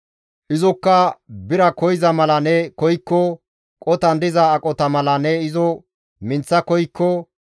izokka bira koyza mala ne koykko, qotan diza aqota mala ne izo minththa koykko,